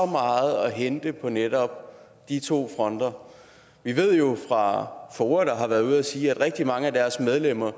meget at hente på netop de to fronter vi ved det jo fra foa der har været ude at sige at rigtig mange af deres medlemmer